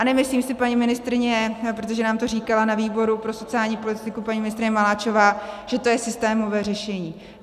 A nemyslím si, paní ministryně, protože nám to říkala na výboru pro sociální politiku paní ministryně Maláčová, že to je systémové řešení.